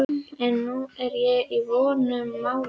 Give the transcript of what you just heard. En nú er ég í vondum málum.